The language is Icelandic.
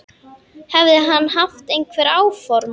Hefði hann haft einhver áform.